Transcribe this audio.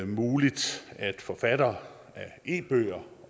muligt at forfattere af e bøger